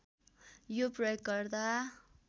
यो प्रयोगकर्ता